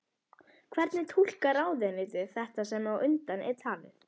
Hvernig túlkar ráðuneytið þetta sem á undan er talið?